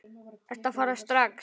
Ertu að fara strax?